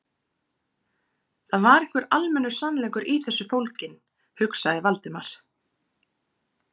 Það var einhver almennur sannleikur í þessu fólginn, hugsaði Valdimar.